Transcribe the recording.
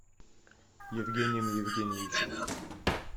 евгением евгеньевичем